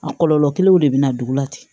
A kɔlɔlɔ kelenw de bɛ na dugu la ten